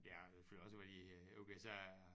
Jeg har selvfølgelig også været i øh USA